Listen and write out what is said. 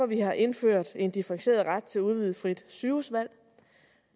vi har indført en differentieret ret til udvidet frit sygehusvalg